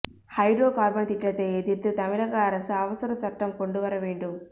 hydro carbon திட்டத்தை எதிா்த்துதமிழக அரசு அவசர சட்டம் கொண்டு வர வேண்டும்